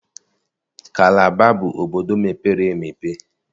Kalaba bụ obodo mepere emepe